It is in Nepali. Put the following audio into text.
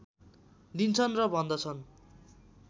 दिन्छन् र भन्दछन्